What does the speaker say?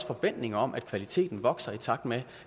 forventning om at kvaliteten vokser i takt med